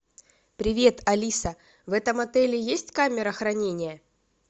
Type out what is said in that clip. привет алиса в этом отеле есть камера хранения